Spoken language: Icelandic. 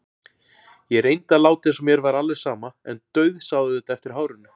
Ég reyndi að láta eins og mér væri alveg sama en dauðsá auðvitað eftir hárinu.